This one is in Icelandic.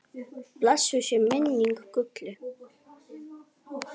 Blessuð sé minning Gullu.